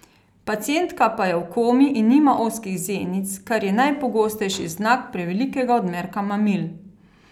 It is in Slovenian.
Pacientka pa je v komi in nima ozkih zenic, kar je najpogostejši znak prevelikega odmerka mamil.